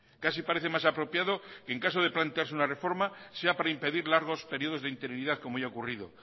casi parece más apropiado en caso de plantearse una reforma sea para impedir largos periodos de interinidad como ya ha ocurrido